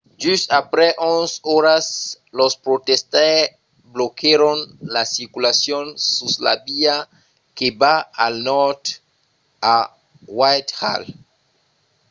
just aprèp 11 oras los protestaires bloquèron la circulacion sus la via que va al nòrd a whitehall